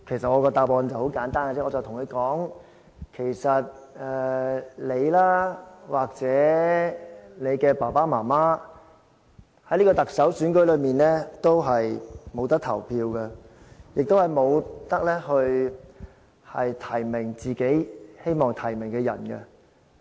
我的答案很簡單，我跟他說："你或者你的爸爸媽媽，不能在特首選舉中投票，亦不能提名自己希望提名的人。